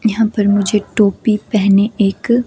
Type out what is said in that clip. यहां पर मुझे टोपी पहने एक--